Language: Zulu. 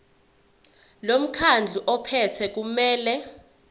lomkhandlu ophethe kumele